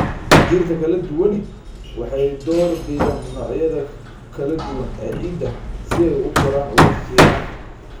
Dhirta kala duwani waxay door bidaan noocyada kala duwan ee ciidda si ay u koraan ugu fiican.